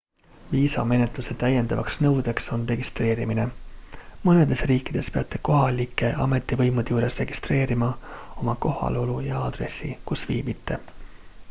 viisamenetluse täiendavaks nõudeks on registreerimine mõnedes riikides peate kohalike ametivõimude juures registreerima oma kohalolu ja aadressi kus viibite